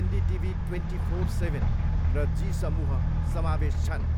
NDTV twenty four seven र जी समूह समावेश छन्।